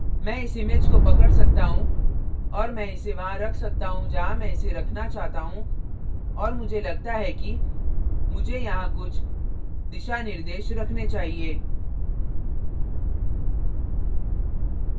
मैं इस image को पकड़ सकता हूँ और मैं इसे वहां रख सकता हूँ जहाँ मैं इसे रखना चाहता हूँ और मुझे लगता है कि मुझे यहाँ कुछ दिशानिर्देश रखने चाहिए